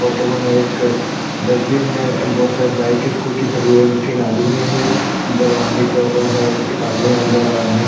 photo बना एक dustbin है एंड बहुत सारे बाइक स्कूटी खड़ी है तीन आदमी है एक दरवानी कर रहा है एक आदमी अंदर आदमी --